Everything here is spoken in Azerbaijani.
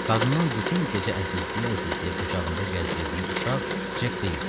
Qadının bütün gecə əzizləyə-əzizləyə qucağında gəzdirdiyi uşaq Cek deyildi.